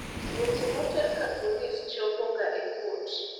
weche moter ka polis chopo ga e kot